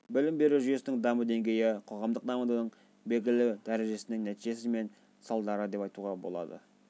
білім беру жүйесінің даму деңгейі қоғамдық дамудың белгілі дәрежесінің нәтижесі немесе салдары деп айтуға болады